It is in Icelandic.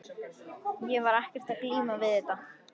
Ég var ekkert að glíma við þetta.